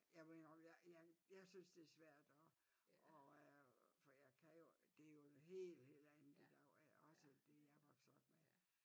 Jeg må indrømme jeg jeg jeg synes det er svært at at for jeg kan jo det jo helt helt andet i dag også end det jeg er vokset op med